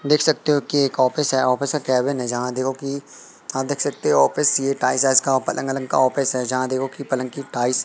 देख सकते हो कि एक ऑफिस है ऑफिस के कैबिन जहां देखो की आप देख सकते हो कि टाइस आइस का पलंग वलंग का ऑफिस है जहां देखो की पलंग की टाइस --